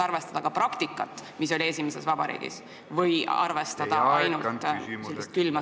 Kas tuleks arvestada ka praktikat, mis oli esimeses vabariigis või tulebki ainult külmalt järgida seadusetähte?